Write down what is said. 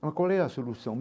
Mas qual é a solução?